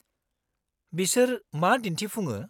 -बिसोर मा दिन्थिफुङो?